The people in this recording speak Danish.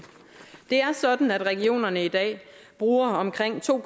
er sådan at regionerne i dag bruger omkring to